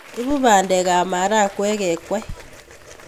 Ibu pandek ak marakwek kekwei